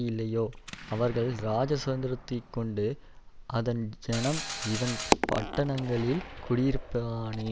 இல்லையோ அவர்கள் ராஜா சுதந்தரித்துக்கொண்டு அதன் ஜனம் இவன் பட்டணங்களில் குடியிருப்பானேன்